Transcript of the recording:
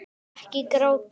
Ekki gráta